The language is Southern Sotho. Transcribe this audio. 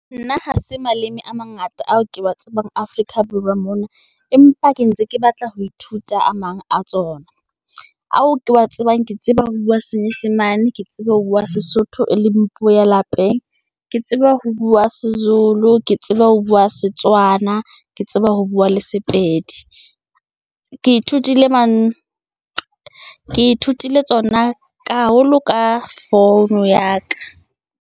Nna ha se maleme a mangata ao ke wa tsebang Afrika Borwa mona, empa ke ntse ke batla ho ithuta a mang a tsona, ao ke wa tsebang ke tseba ho bua senyesemane, ke tsebe ho bua sesotho e leng puo ya lapeng, ke tseba ho bua sezulu, ke tsebe ho bua setswana, ke tsebe ho bua le sepedi. ke ithutile tsona, haholo ka founu ya ka.